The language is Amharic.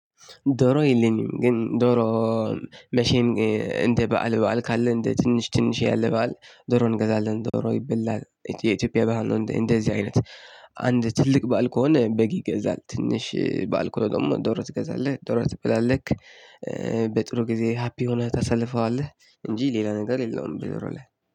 ዶሮ የለኝም ግን ዶሮ መቼም እንደ በዓል በዓል ካለ እንደ ትንሽ ትንሽ ያለ በዓል ዶሮ እንገዛለን ዶሮ ይበላል የኢትዮጵያ ባህል ነው። እንደዚህ አይነት አንድ ትልቅ ባእል ከሆነ በግ ይገዛል ትንሽ ባእል ከሆነ ደግሞ ደሮ ትገዛለህ ደሮ ትበላለህ። በጥሩ ጊዜ ሃፒ ሁነህ ታሳልፈዋለህ እንጂ ሌላ ነገር የለውም። በደሮ ላይ